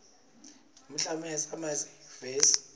nemiklomelo yasema yunivesi